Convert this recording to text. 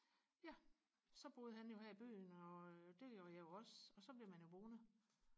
ja så boede han jo her i byen og øh det gjorde jeg jo også og ja så bliver man jo boende